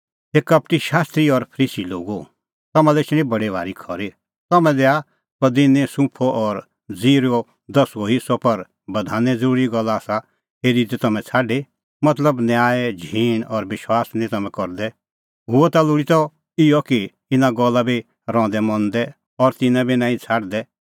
हे कपटी शास्त्री और फरीसी लोगो तम्हां लै एछणी बडी भारी खरी तम्हैं दैआ पदिनै सुंफो और ज़ीरैओ दसुअ हेस्सअ पर बधाने ज़रूरी गल्ला आसा हेरी दी तम्हैं छ़ाडी मतलब न्याय झींण और विश्वास निं तम्हैं करदै हुअ ता लोल़ी त इहअ कि इना गल्ला बी रहंदै मंदै और तिन्नां बी नांईं छ़ाडदै